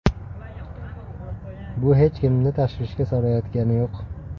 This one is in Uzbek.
Bu hech kimni tashvishga solayotgani yo‘q.